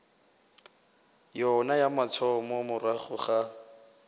yona ya mathomo morago ga